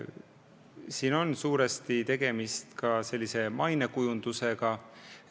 Siin on suurel määral tegemist mainekujundusega.